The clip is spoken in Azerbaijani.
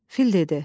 Fil dedi: